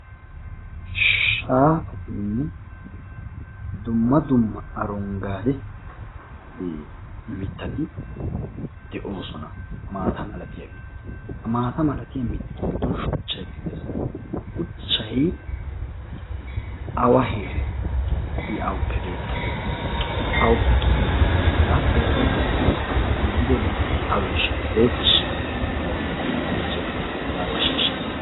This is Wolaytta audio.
Shaafatinne dumma dumme aronggaade mittati de"oosona maata malatiyageeti ha maata malatiya mittatu giddon shuchchaykka de"es. Shuchchayi awa heeren i awappe beettabe awappe kiyidabee hagaa pootuwa denttidi yeddido bootayi aweeshsha ereetiishsha yaagidi oyichcheettes zaaruwa shiishshite.